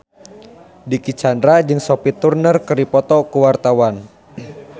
Dicky Chandra jeung Sophie Turner keur dipoto ku wartawan